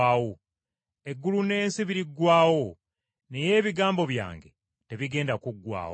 Eggulu n’ensi biriggwaawo, naye ebigambo byange tebigenda kuggwaawo.